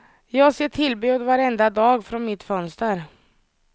Jag ser tillbud varenda dag från mitt fönster.